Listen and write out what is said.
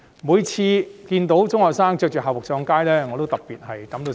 我看見中學生身穿校服上街，感到特別痛心。